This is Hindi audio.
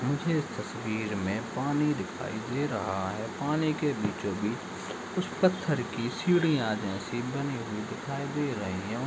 मुझे इस तस्वीर मे पानी दिखाई दे रहा है पानी के बीचों-बीच कुछ पत्थर की सिडिया जैसी बनी हुई दिखाई दे रही है --